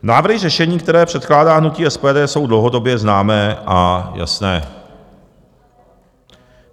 Návrhy řešení, které předkládá hnutí SPD, jsou dlouhodobě známé a jasné.